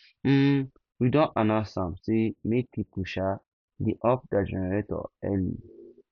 um we don announce am sey make pipo um dey off their generator early